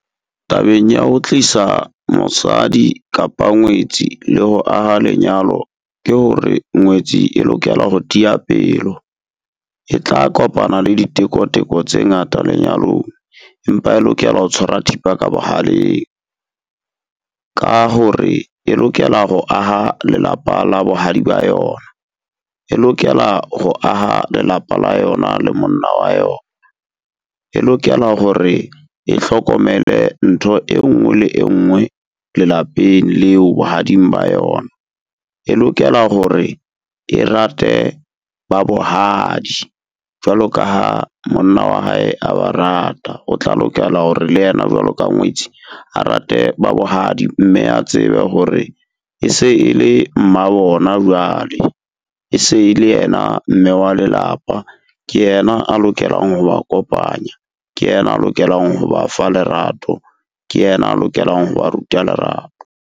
Tabeng ya ho tlisa mosadi kapa ngwetsi le ho aha lenyalo, ke hore ngwetsi e lokela ho tia pelo. E tla kopana le diteko-teko tse ngata lenyalong. Empa e lokela ho tshwara thipa ka bohaleng, ka hore e lokela ho aha lelapa la bohadi ba yona. E lokela ho aha lelapa la yona le monna wa yona, e lokela hore e hlokomele ntho e nngwe le engwe lelapeng leo bohading ba yona. E lokela hore e rate ba bohadi jwalo ka ha monna wa hae a ba rata, o tla lokela hore le yena jwalo ka ngwetsi, a rate ba bohadi. Mme a tsebe hore e se e le mmabona jwale, e se le yena mme wa lelapa. Ke yena a lokelang ho ba kopanya, ke yena a lokelang ho ba fa lerato, Ke yena a lokelang ho ba ruta lerato.